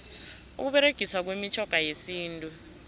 ukuberegiswa kwemitjhoga yesintu